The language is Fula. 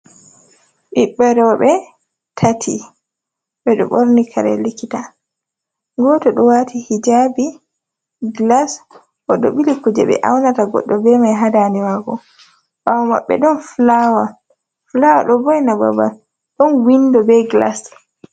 Ɓiɓɓe roɓe tati ɓe ɗo ɓorni kare likita goto ɗo wati hijabi, glas o ɗo bili kuje ɓe aunata goɗɗo be mai ha dande mako. ɓawo maɓɓe ɗon flawa do vo'ina babal. Ɗon windo be glas.